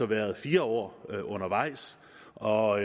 været fire år undervejs og